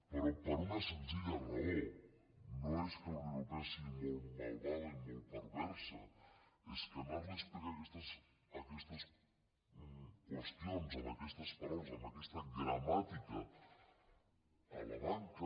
però per una senzilla raó no és que la unió europea sigui molt malvada i molt perversa és que anar li a explicar aquestes qüestions amb aquestes paraules amb aquesta gramàtica a la banca